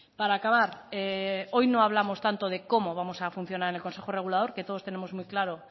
para acabar hoy no hablamos tanto de cómo vamos a funcionar en el consejo regulador que todos tenemos muy claro